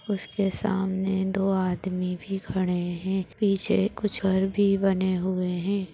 उसके सामने दो आदमी भी खड़े हैं पीछे कुछ और भी बने हुए हैं।